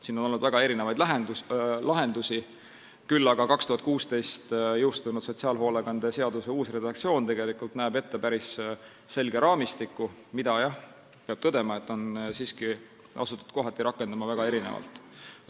Siin on olnud väga erinevaid lahendusi, küll aga näeb 2016. aastal jõustunud sotsiaalhoolekande seaduse uus redaktsioon ette päris selge raamistiku, mida, peab tõdema, on asutud kohati rakendama väga erinevalt.